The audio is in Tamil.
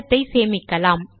படத்தை சேமிக்கலாம்